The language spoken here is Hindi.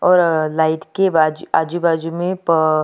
और लाइट के बाजू आजू बाजू में पा--